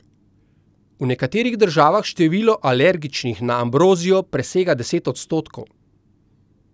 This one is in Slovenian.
V nekaterih državah število alergičnih na ambrozijo presega deset odstotkov.